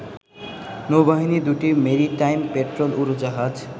নৌবাহিনীর দুটি maritime patrol উড়োজাহাজ